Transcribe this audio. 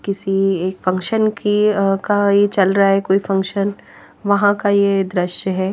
किसी एक फंक्शन की का ये चल रहा हैकोई फंक्शन वहां का ये दृश्य है।